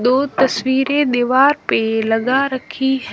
दो तस्वीरें दीवार पे लगा रखी है।--